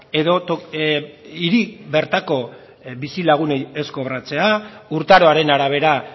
edo hiri bertako bizilagunei ez kobratzea urtaroaren arabera